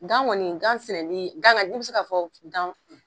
Dan gɔni gan sɛnɛni gan ga i bi se ka fɔ gan